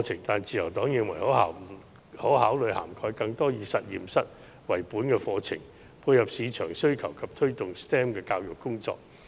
但是，自由黨認為可考慮涵蓋更多以實驗室為本的課程，以配合市場需求及推動 STEM 的教育工作。